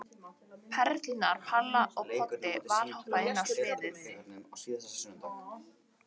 Perurnar Palla og Poddi valhoppa inn á sviðið.